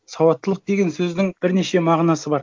сауаттылық деген сөздің бірнеше мағынасы бар